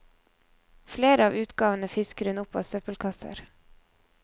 Flere av utgavene fisker hun opp av søppelkasser.